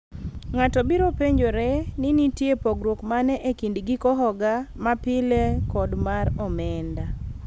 ng'ato biro penjore ni nitie pogruok mane ekind giko hoga ma pile kod mar omenda